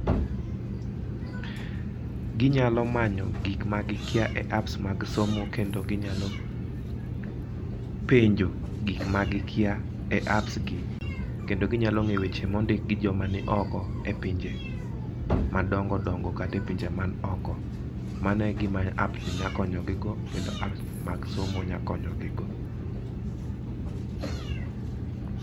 Gi nyalo manyo gik ma gi kia e apps mag somo, kendo gi nya penjo gik ma gi kia e apps gi kendo gi nya ng'e weche ma ondik gi jo ma ni oko e pinje madongo dongo kata e pinje man oko. Kendo mano e gi ma app ni nya konyo gi go, kendo apps mag somo nya konyo gi go.